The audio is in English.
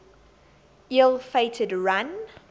ill fated run